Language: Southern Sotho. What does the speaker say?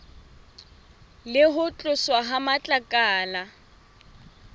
le ho tloswa ha matlakala